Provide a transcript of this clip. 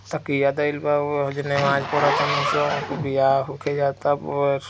तकिया देइल बा ऊ ए जा नमाज पढ़तारन सं वो वियाह होके जाता अ --